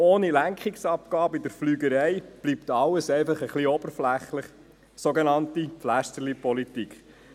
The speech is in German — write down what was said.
Ohne Lenkungsabgabe in der Fliegerei bleibt jedoch alles etwas oberflächlich, sogenannte «Pflästerlipolitik».